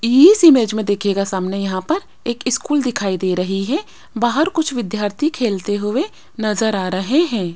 इस इमेज मे देखियेगा सामने यहां पर एक स्कूल दिखाई दे रही है बाहर कुछ विद्यार्थी खेलते हुए नजर आ रहे है।